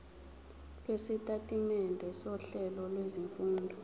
lwesitatimende sohlelo lwezifundo